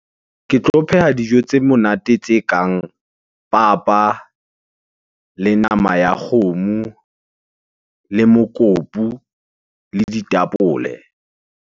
Ke tlo pheha dijo tse monate tse kang papa, le nama ya kgomo, le mokopu le ditapole.